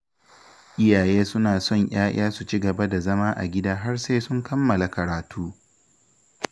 Iyaye suna son 'ya'ya su ci gaba da zama a gida har sai sun kammala karatu